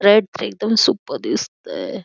Red तर एकदम super दिसतय.